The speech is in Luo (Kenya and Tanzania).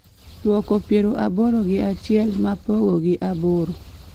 duoko piero aboro gi achiel ma pogo gi aboro